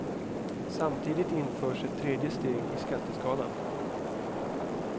Samtidigt införs ett tredje steg i skatteskalan.